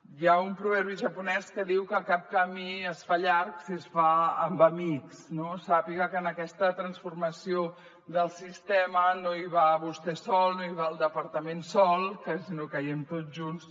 hi ha un proverbi japonès que diu que cap camí es fa llarg si es fa amb amics no sàpiga que en aquesta transformació del sistema no hi va vostè sol no hi va el departament sol sinó que hi anem tots junts